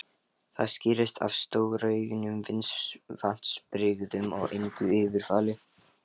Það skýrist af stórauknum vatnsbirgðum og engu yfirfalli.